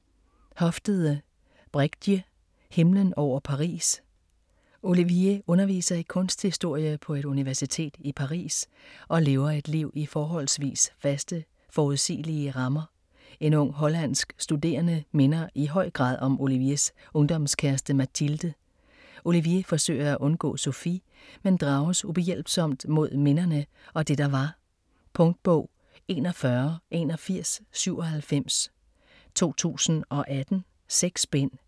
Hofstede, Bregje: Himlen over Paris Olivier underviser i kunsthistorie på et universitet i Paris og lever et liv i forholdsvis faste, forudsigelige rammer. En ung hollandsk studerende minder i høj grad om Oliviers ungdomskæreste Mathilde. Olivier forsøger at undgå Sofie, men drages ubehjælpsomt mod minderne og det der var. Punktbog 418197 2018. 6 bind.